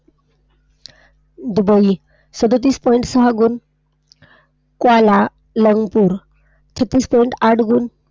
Dubai सदतीस Point सहा गुण . क्वाला लंगपूर छत्तीस Point आठ गुण.